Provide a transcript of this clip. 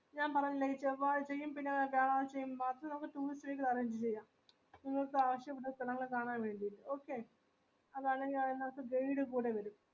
ഞാൻ പറീന്നെ പിന്നെ ചെറുതായറ്റ് ഈ പിഞ്ഞാ last നമ്മക്ക് tools ലേക്ക് arrange ചെയ്യ നിങ്ങൾക്ക് ആവിഷുള്ളത്ര നല്ല കാണാൻ വേണ്ടി okay അതല്ലെങ്കിൽ അയ്